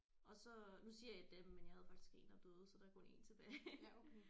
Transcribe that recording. Og så nu siger jeg dem men jeg havde faktisk 1 der døde så der er kun 1 tilbage